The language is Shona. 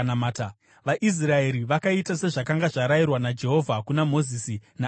VaIsraeri vakaita sezvakanga zvarayirwa naJehovha kuna Mozisi naAroni.